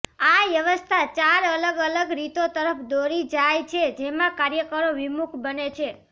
આ વ્યવસ્થા ચાર અલગ અલગ રીતો તરફ દોરી જાય છે જેમાં કાર્યકરો વિમુખ બને છે